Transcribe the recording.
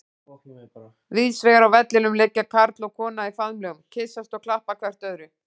Víðsvegar á vellinum liggja karl og kona í faðmlögum, kyssast og klappa hvert öðru.